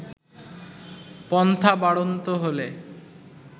পন্থা বাড়ন্ত হলে